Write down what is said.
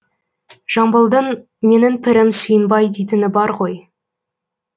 жамбылдың менің пірім сүйінбай дейтіні бар ғой